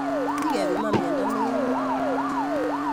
Wii kepiman miondo neimin